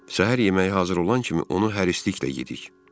Səhər yeməyi hazır olan kimi onu hərisliklə yedik.